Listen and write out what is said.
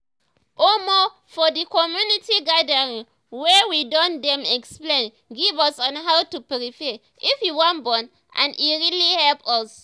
omo for the community gathering wey we do dem explain give us on how to prepare if you wan born and e really help us